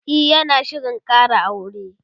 e yana Shirin Kara aure